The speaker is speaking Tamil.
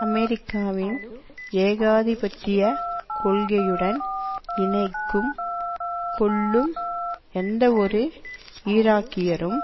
அமெரிக்காவின் ஏகாதிபத்தியக் கொள்கையுடன் இணைக்கும் கொள்ளும் எந்தவொரு ஈராக்கியரும்